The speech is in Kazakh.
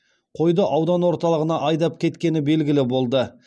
қойды аудан орталығына айдап кеткені белгілі болды